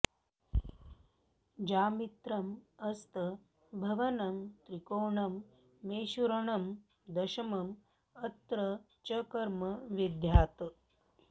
जामित्रम् अस्त भवनं त्रिकोणं मेषूरणं दशमम् अत्र च कर्म विद्यात्